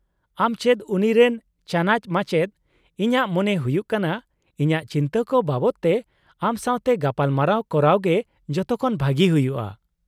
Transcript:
-ᱟᱢ ᱪᱮᱫ ᱩᱱᱤᱨᱮᱱ ᱪᱟᱱᱟᱪ ᱢᱟᱪᱮᱫ, ᱤᱧᱟᱹᱜ ᱢᱚᱱᱮ ᱦᱩᱭᱩᱜ ᱠᱟᱱᱟ ᱤᱧᱟᱹᱜ ᱪᱤᱱᱛᱟᱹ ᱠᱚ ᱵᱟᱵᱚᱫ ᱛᱮ ᱟᱢ ᱥᱟᱶᱛᱮ ᱜᱟᱯᱟᱞᱢᱟᱨᱟᱣ ᱠᱚᱨᱟᱣ ᱜᱮ ᱡᱚᱛᱚᱠᱷᱚᱱ ᱵᱷᱟᱹᱜᱤ ᱦᱩᱭᱩᱜᱼᱟ ᱾